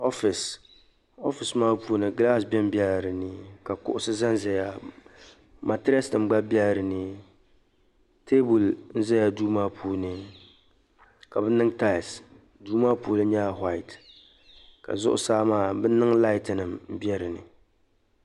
ofisi ofisi maa puuni gilasi be m be la dini ka kuɣisi zan zaya matires nima gba be la dini teebuli zala duu maa puuni ka bɛ niŋ taails duu maa nyɛla wuhait ka zuɣu saa bɛ niŋ laait nim be dini